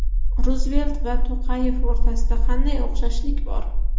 Ruzvelt va To‘qayev o‘rtasida qanday o‘xshashlik bor?